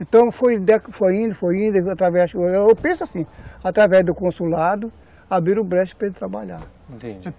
Então foi indo, foi indo, através, eu penso assim, através do consulado, abriram o brecha para ele trabalhar, entendi.